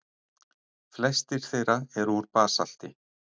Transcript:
Flestir þeirra eru úr basalti.